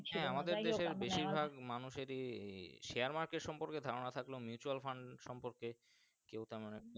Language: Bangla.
যাই হোক বাসীর ভাগ মানুষএরই Share market সম্পর্কে ধারণা থাকলে Mutual Fund সম্পর্কে কেউ তেমন।